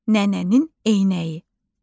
Nənənin eynəyi.